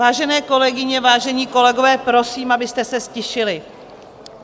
Vážené kolegyně, vážení kolegové, prosím, abyste se ztišili.